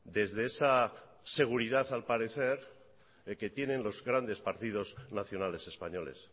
desde esa seguridad al parecer que tienen los grandes partidos nacionales españoles